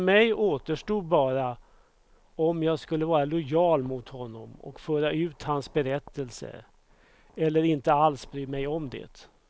För mig återstod bara om jag skulle vara lojal mot honom och föra ut hans berättelse, eller inte alls bry mig om det.